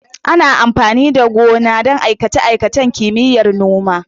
Ana amfani da gona don aikace-aikacen Kimiyyar Noma.